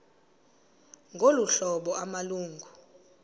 ngolu hlobo amalungu